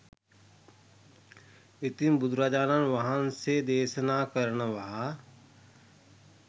ඉතින් බුදුරජාණන් වහන්සේ දේශනා කරනවා